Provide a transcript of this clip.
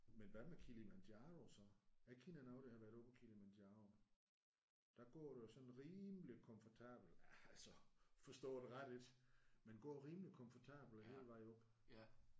Men hvad med Kilimanjaro så? Jeg kender nogen der har været oppe ad Kilimanjaro. Der går du jo sådan rimeligt komfortabelt altså forstå det ret ik men går rimeligt komfortabelt hele vejen op